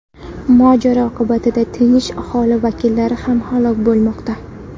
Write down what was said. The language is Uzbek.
Mojaro oqibatida tinch aholi vakillari ham halok bo‘lmoqda.